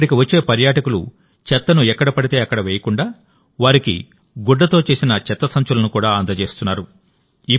ఇక్కడికి వచ్చే పర్యాటకులు చెత్తను ఎక్కడ పడితే అక్కడ వేయకుండా వారికి గుడ్డతో చేసిన చెత్త సంచులను కూడా అందజేస్తున్నారు